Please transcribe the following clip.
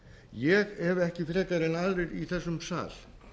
ég hef ekki frekar en aðrir í þessum sal